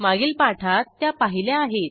मागील पाठात त्या पाहिल्या आहेत